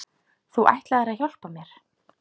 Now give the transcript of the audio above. Þú ætlaðir að hjálpa mér.